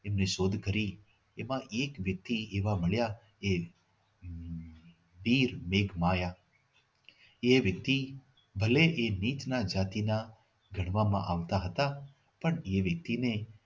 એમને શોધ કરી એમાં એક વ્યક્તિ એવા મળ્યા એ વીર એક માયા એ વ્યક્તિ ભલે એ નીત નાત જાતિમાં ગણવામાં આવતા હતા પણ એ વ્યક્તિને